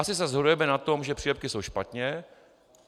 Asi se shodujeme na tom, že přílepky jsou špatně.